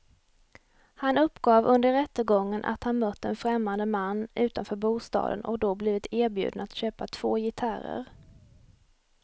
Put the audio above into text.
Han uppgav under rättegången att han mött en främmande man utanför bostaden och då blivit erbjuden att köpa två gitarrer.